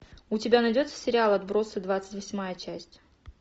у тебя найдется сериал отбросы двадцать восьмая часть